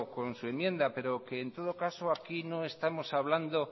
con su enmienda pero que en todo caso aquí no estamos hablando